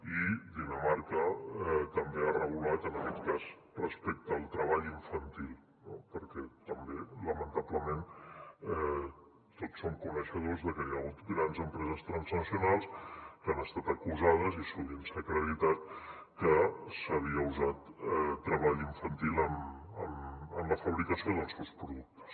i dinamarca també ha regulat en aquest cas respecte al treball infantil perquè també lamentablement tots som coneixedors de que hi ha hagut grans empreses transnacionals que han estat acusades i sovint s’ha acreditat que s’havia usat treball infantil en la fabricació dels seus productes